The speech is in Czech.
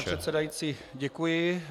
Pane předsedající, děkuji.